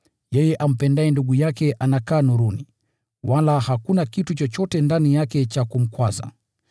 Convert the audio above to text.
Yeye ampendaye ndugu yake anakaa nuruni, wala hakuna kitu chochote ndani yake cha kumkwaza.